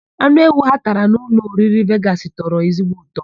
Anụ ewu ha tara na ụlọoriri Vegasị tọrọ ezigbo ụtọ.